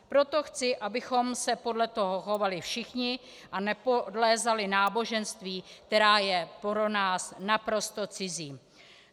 Proto chci, abychom se podle toho chovali všichni a nepodlézali náboženství, které je pro nás naprosto cizí.